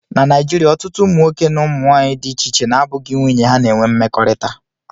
Na Naijiria, ọtụtụ ụmụnwoke na ụmụ nwanyị dị iche iche na-abụghị nwunye ha na-enwe mmekọrịta